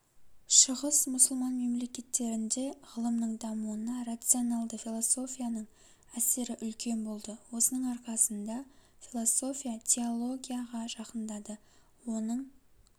шығыс мұсылман мемлекеттерінде ғылымның дамуына рационалды философияның әсері үлкен болды осының арқасында философия теологияға жақындады оның